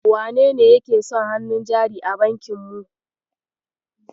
Wanene yake son hannun jari a bankin mu?